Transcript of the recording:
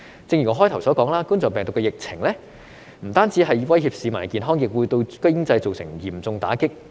正如我發言開始時說，冠狀病毒的疫情不但威脅市民的健康，亦會對經濟造成嚴重打擊。